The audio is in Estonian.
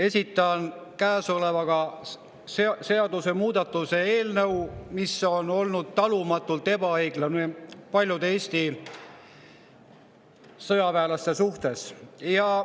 Esitan käesolevaga seaduse muutmise eelnõu, mis on olnud talumatult ebaõiglane paljude Eesti sõjaväelaste suhtes.